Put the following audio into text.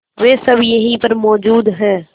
वे सब यहीं पर मौजूद है